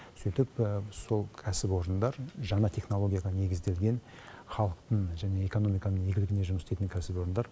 сөйтіп сол кәсіпорындар жаңа технологияға негізделген халықтың және экономиканың игілігіне жұмыс істейтін кәсіпорындар